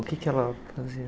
O que que ela